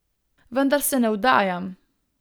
Vendar se ne vdajam.